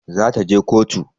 Za ta je kotu